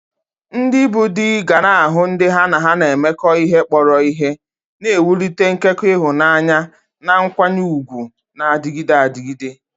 Ndị bụ́ di ga-ahụ ndị ha na ha na-emekọ ihe kpọrọ ihe, na-ewulite nkekọ ịhụnanya na nkwanye ùgwù na-adịgide adịgide.